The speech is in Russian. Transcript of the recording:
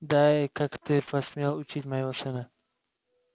да и как ты посмел учить моего сына